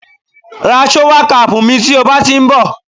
ra shower cap mi ti o ba ti nbo